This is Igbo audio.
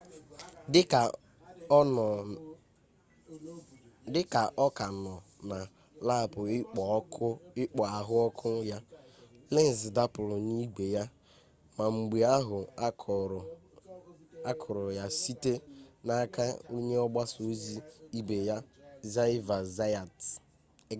dị ka ọ ka nọ na laapụ ikpo ahụ ọkụ ya lenz dapụrụ n'igwe ya ma mgbe ahụ a kụrụ ya site n'aka onye ọgba ọsọ ibe ya xavier zayat